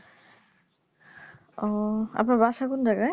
ও আপনার বাসা কোন জায়গায়